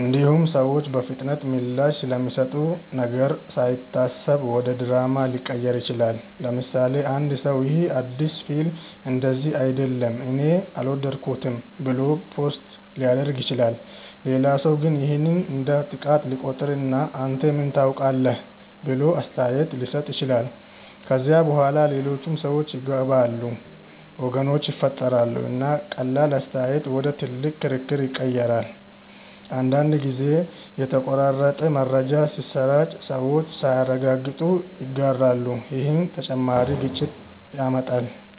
እንዲሁም ሰዎች በፍጥነት ምላሽ ስለሚሰጡ ነገር ሳይታሰብ ወደ ድራማ ሊቀየር ይችላል። ለምሳሌ፣ አንድ ሰው “ይህ አዲስ ፊልም እንደዚህ አይደለም እኔ አልወደድኩትም” ብሎ ፖስት ሊያደርግ ይችላል። ሌላ ሰው ግን ይህን እንደ ጥቃት ሊቆጥር እና “አንተ ምን ታውቃለህ?” ብሎ አስተያየት ሊሰጥ ይችላል። ከዚያ በኋላ ሌሎች ሰዎች ይገባሉ፣ ወገኖች ይፈጠራሉ፣ እና ቀላል አስተያየት ወደ ትልቅ ክርክር ይቀየራል። አንዳንድ ጊዜም የተቆራረጠ መረጃ ሲሰራጭ ሰዎች ሳያረጋግጡ ይጋራሉ፣ ይህም ተጨማሪ ግጭት ያመጣል።